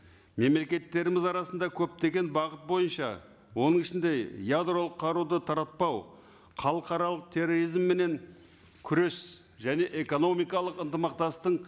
мемлекеттеріміз арасында көптеген бағыт бойынша оның ішінде ядролық қаруды таратпау халықаралық терроризмменен күрес және экономикалық